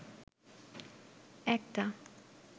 একটা